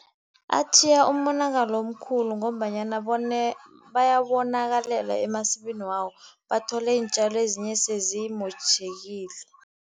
Atjhiya umonakalo omkhulu ngombanyana bayonakalelwa emasimini wabo, bathole iintjalo ezinye sezimotjhekile.